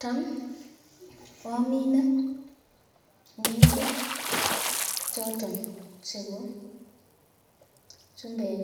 Tam amine ngendek choton chebo chumbek